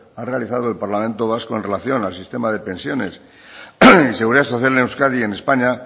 ha realizado el parlamento vasco con relación al sistema de pensiones y seguridad social en euskadi y en españa